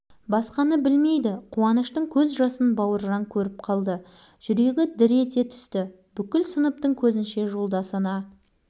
мұны не деп болады шоқан түк білмегендей-ақ тымпиып партасына қарай кетіп барады шоқан тоқта шоқан қалт